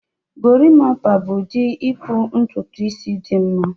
Gorimpa bụ ụdị ịkpụ ntutu isi dị mma